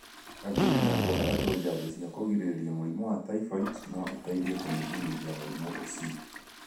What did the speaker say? Kambeni ya kũhe andũ njajo cia kũgirĩrĩria mũrimũ wa typhoid no ĩteithie kũnyihanyihia mũrimũ ũcio.